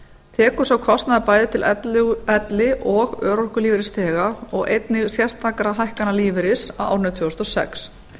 tekur sá kostnaður bæði til elli og örorkulífeyrisþega og einnig sérstakra hækkana lífeyris á árinu tvö þúsund og sex